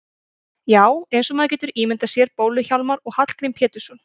Já, eins og maður getur ímyndað sér Bólu-Hjálmar og Hallgrím Pétursson.